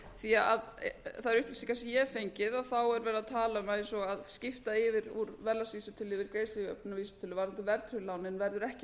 því þær upplýsingar sem ég hef fengið þá er verið að tala um að eins og að skipta yfir úr verðlagsvísitölu yfir í greiðslujöfnunarvísitölu varðandi verðtryggðu lánin verður ekki